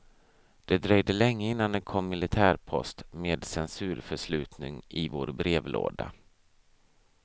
Det dröjde länge innan det kom militärpost med censurförslutning i vår brevlåda.